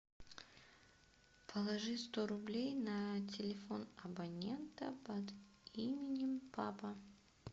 положи сто рублей на телефон абонента под именем папа